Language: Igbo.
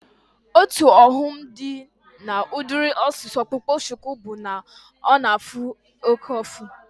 Otu ọghọm dị na udiri isi ọkpụkpa shuku bụ na ọ na-afụ oke ụfụ